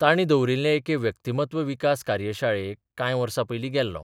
तांणी दवरिल्ले एके व्यक्तिमत्व विकास कार्यशाळेक कांय वर्सा पयलीं गेल्लों.